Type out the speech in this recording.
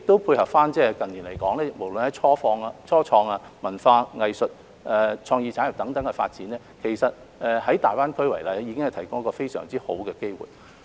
配合近年無論是初創、文化、藝術或創意產業等方面的發展，其實大灣區已提供非常好的機會。